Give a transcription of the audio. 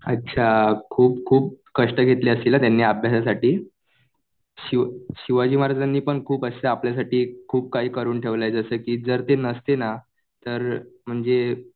अच्छा. खुप खूप कष्ट घेतले असतील ना त्यांनी अभ्यासासाठी. शिवाजी महाराजांनी पण खूप असं आपल्यासाठी खूप काही असं करून ठेवलंय. जसं कि जर ते नसते ना तर म्हणजे